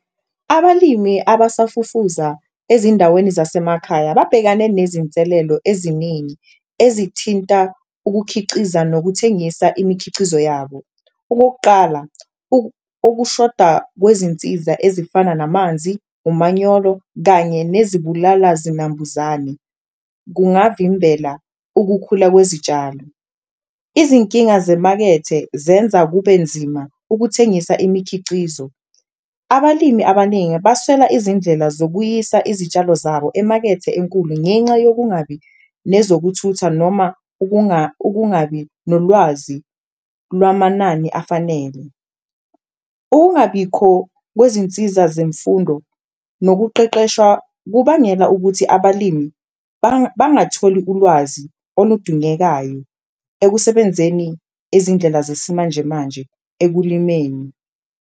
Abalimi abasafufuza ezindaweni zasemakhaya babhekane nezinselelo eziningi ezithinta ukukhiciza nokuthengisa imikhicizo yabo. Okokuqala, ukushoda kwezinsiza ezifana namanzi, umanyolo kanye nezibulala zinambuzane kungavimbela ukukhula kwezitshalo. Izinkinga zemakethe zenza kube nzima ukuthengisa imikhicizo, abalimi abaningi baswela izindlela zokuyisa izitshalo zabo emakethe enkulu ngenxa yokungabi nezokuthutha noma ukungabi nolwazi lwamanani afanele. Ukungabikho kwezinsiza zemfundo nokuqeqeshwa kubangela ukuthi, abalimi bangatholi ulwazi oludungekayo ekusebenzeni izindlela zesimanjemanje ekulimeni.